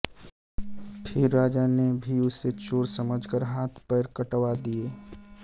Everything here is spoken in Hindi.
फिर राजा ने भी उसे चोर समझ कर हाथ पैर कटवा दिये